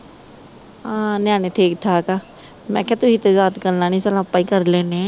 ਹਾਂ ਨਿਆਣੇ ਠੀਕ ਠਾਕ ਆ ਮੈਂ ਕਿਹਾ ਤੁਸੀਂ ਤੇ ਯਾਦ ਕਰਨਾ ਨੀ ਚੱਲ ਆਪਾ ਈ ਕਰ ਲੈਣੇ ਆ